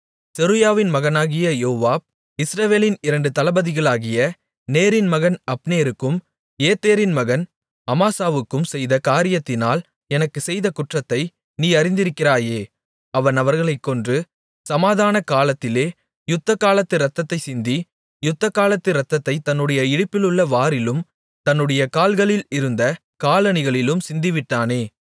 செருயாவின் மகனாகிய யோவாப் இஸ்ரவேலின் இரண்டு தளபதிகளாகிய நேரின் மகன் அப்னேருக்கும் ஏத்தேரின் மகன் அமாசாவுக்கும் செய்த காரியத்தினால் எனக்குச் செய்த குற்றத்தை நீ அறிந்திருக்கிறாயே அவன் அவர்களைக் கொன்று சமாதானகாலத்திலே யுத்தகாலத்து இரத்தத்தைச் சிந்தி யுத்தகாலத்து இரத்தத்தைத் தன்னுடைய இடுப்பிலுள்ள வாரிலும் தன்னுடைய கால்களில் இருந்த காலணிகளிலும் சிந்தவிட்டானே